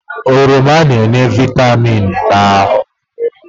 Oroma na-enye vịtamịn na ahụ.